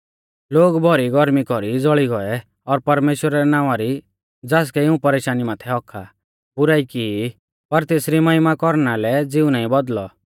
लोग भौरी गौर्मी कौरी ज़ौल़ी गौऐ और परमेश्‍वरा रै नावां री ज़ासकै इऊं परेशानी माथै हक्क आ बुराई की ई पर तेसरी महिमा कौरना लै ज़िऊ नाईं बौदल़ौ